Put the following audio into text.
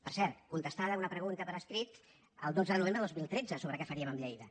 per cert contestada una pregunta per escrit el dotze de novembre de dos mil tretze sobre què faríem amb lleida